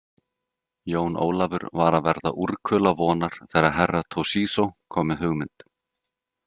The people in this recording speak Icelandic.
Jón Ólafur var að verða úrkula vonar þegar Herra Toshizo kom með hugmynd.